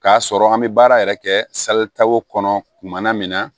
K'a sɔrɔ an bɛ baara yɛrɛ kɛ kɔnɔ kumana min na